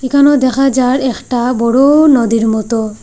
এখানেও দেখা যার একটা বড় নদীর মতো।